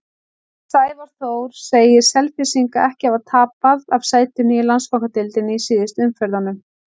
Sævar Þór segir Selfyssinga ekki hafa tapað af sætinu í Landsbankadeildinni í síðustu umferðunum.